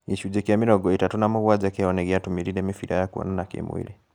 Gĩcunjĩ kĩa mĩrongo ĩtatũ na mũgwanja kĩao nĩgĩatũmĩrire mĩbĩra ya kuonana kĩ-mwĩrĩ